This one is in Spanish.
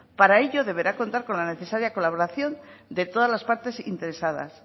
para ello deberá contar con la necesaria colaboración de todas las partes interesadas